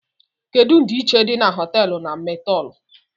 Kedu ndiichie di na hoteelu na motéelu?